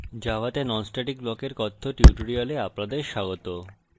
জাভাতে non static ব্লকের কথ্য tutorial আপনাদের স্বাগত